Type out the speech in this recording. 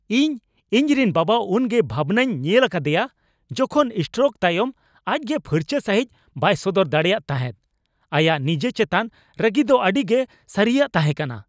ᱤᱧ ᱤᱧᱨᱮᱱ ᱵᱟᱵᱟ ᱩᱱᱜᱮ ᱵᱷᱟᱵᱽᱱᱟᱜ ᱤᱧ ᱧᱮᱞ ᱟᱠᱟᱫᱮᱭᱟ ᱡᱚᱠᱷᱚᱱ ᱥᱴᱨᱳᱠ ᱛᱟᱭᱚᱢ ᱟᱡ ᱜᱮ ᱯᱷᱟᱨᱪᱟ ᱥᱟᱺᱦᱤᱪ ᱵᱟᱭ ᱥᱚᱫᱚᱨ ᱫᱟᱲᱮᱭᱟᱫ ᱛᱟᱦᱮᱫ ᱾ ᱟᱭᱟᱜ ᱱᱤᱡᱮ ᱪᱮᱛᱟᱱ ᱨᱟᱹᱜᱤ ᱫᱚ ᱟᱹᱰᱤᱜᱮ ᱥᱟᱹᱨᱤᱭᱟᱜ ᱛᱟᱦᱮᱸ ᱠᱟᱱᱟ ᱾